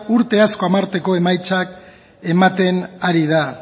urte asko emaitzak ematen ari da